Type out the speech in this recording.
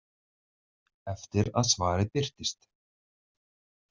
Eftir að svarið birtist.